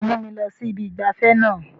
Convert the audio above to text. Sé wàá mú mi lọ sí ibi ìgbafẹ́ náà?